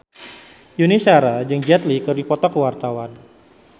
Yuni Shara jeung Jet Li keur dipoto ku wartawan